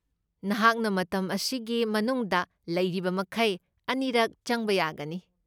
ꯅꯍꯥꯛꯅ ꯃꯇꯝ ꯑꯁꯤꯒꯤ ꯃꯅꯨꯡꯗ ꯂꯩꯔꯤꯕꯃꯈꯩ ꯑꯅꯤꯔꯛ ꯆꯪꯕ ꯌꯥꯒꯅꯤ꯫